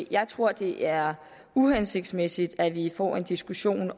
jeg tror det er uhensigtsmæssigt at vi får en diskussion i